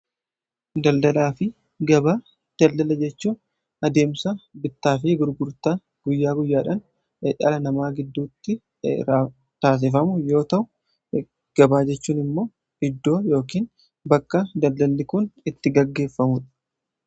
daldalaa fi gabaa, daldala jechuun adeemsa bittaa fi gurgurtaa guyyaa guyyaadhan dhala namaa gidduutti taasifamu yoo ta'u gabaa jechuun immoo iddoo yookin bakka daldalli kuun itti gaggeeffamudha